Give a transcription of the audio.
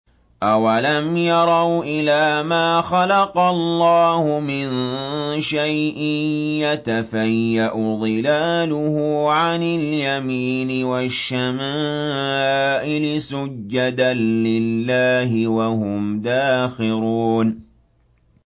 أَوَلَمْ يَرَوْا إِلَىٰ مَا خَلَقَ اللَّهُ مِن شَيْءٍ يَتَفَيَّأُ ظِلَالُهُ عَنِ الْيَمِينِ وَالشَّمَائِلِ سُجَّدًا لِّلَّهِ وَهُمْ دَاخِرُونَ